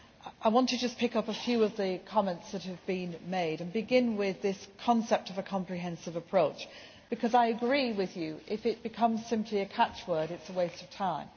I want to just pick up a few of the comments that have been made, beginning with this concept of a comprehensive approach, because I agree that if it becomes simply a catchword, it is waste of time.